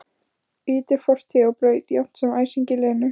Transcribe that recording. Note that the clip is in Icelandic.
Ýtir fortíð á braut jafnt sem æsingi Lenu.